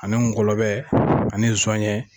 Ani ngɔlɔbɛ ani nsɔɲɛ